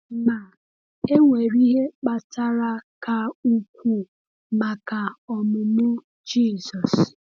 Ma, e nwere ihe kpatara ka ukwuu maka ọmụmụ Jizọs.